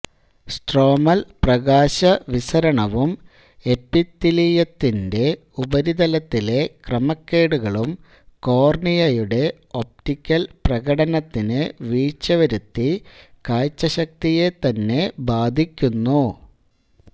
stromal പ്രകാശ വിസരണവും എപ്പിത്തീലിയത്തിൻറെ ഉപരിതലത്തിലെ ക്രമക്കേടുകളും കോർണിയയുടെ ഒപ്റ്റിക്കൽ പ്രകടനത്തിന് വീഴ്ച വരുത്തി കാഴ്ച ശക്തിയെ തന്നെ ബാധിക്കുന്നു